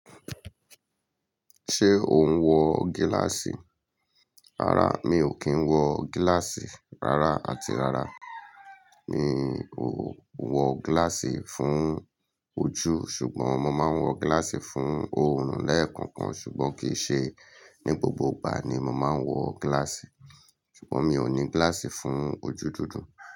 Ṣé o ń wọ gíláàsì? Rárá, mi ò kí ń wọ gíláàsì. Rárá àti rárá, mi ò wọ gíláàsì fún ojú. Ṣùgbọ́n mo máa ń wọ gíláàsì fún òòrùn lẹ́ẹ̀kọ̀kan, ṣùgbọ́n kì í ṣe ní gbogbo ìgbà ni mo máa ń wọ gíláàsì. Ṣùgbọ́n mi ò ní gíláàsì fún ojú dúdú.